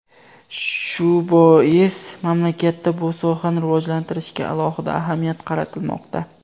Shu bois mamlakatda bu sohani rivojlantirishga alohida ahamiyat qaratilmoqda.